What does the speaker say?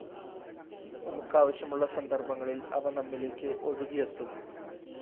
നമുക്ക് ആവശ്യമുള്ള സന്ദര്‍ഭങ്ങളില്‍ അവ നമ്മിലേക്ക് ഒഴുകിയെത്തും